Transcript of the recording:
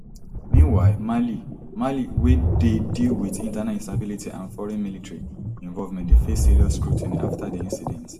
meanwhile mali mali wey dey deal wit internal instability and foreign military involvement dey face serious scrutiny after di incident